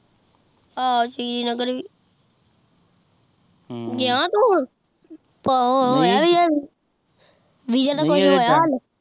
ਆਹ ਸ਼੍ਰੀਨਗਰ ਵੀ ਗਯਾ ਤੂ ਹੁਣ ਹੋਯਾ ਵੀਸਾ ਦਾ ਹੁਣੇ